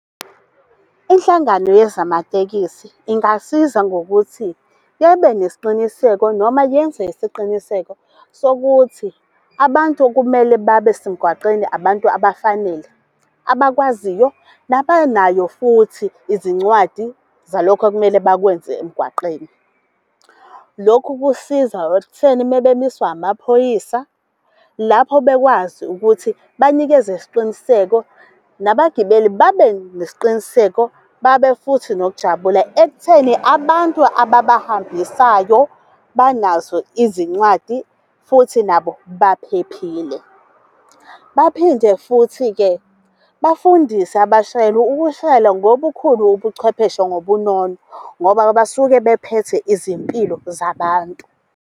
Inhlangano yezamatekisi ingasiza ngokuthi nesiqiniseko noma yenze isiqiniseko sokuthi abantu okumele babe semgwaqeni abantu abafanele, abakwaziyo, nabanayo futhi izincwadi zalokhu ekumele bakwenze emgwaqeni. Lokhu kusiza ekutheni mabemiswa amaphoyisa lapho bekwazi ukuthi banikeze isiqiniseko nabagibeli babe nesiqiniseko, babe futhi nokujabula ekutheni abantu ababahambisayo, banazo izincwadi futhi nabo baphephile. Baphinde futhi-ke bafundise abashayeli ukushayela ngobukhulu ubucwephesha ngobunono, ngoba basuke bephethe izimpilo zabantu.